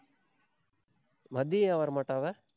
மதியம் ஏன் வரமாட்டா அவ?